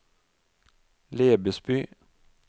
Lebesby